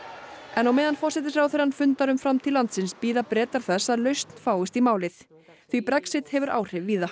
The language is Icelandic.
en á meðan forsætisráðherrann fundar um framtíð landsins bíða Bretar þess að lausn fáist í málið því Brexit hefur áhrif víða